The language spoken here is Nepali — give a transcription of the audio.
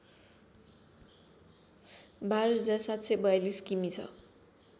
१२७४२ किमि छ